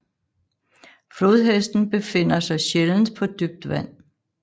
Flodhesten befinder sig sjældent på dybt vand